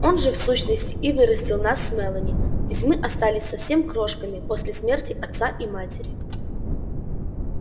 он же в сущности и вырастил нас с мелани ведь мы остались совсем крошками после смерти отца и матери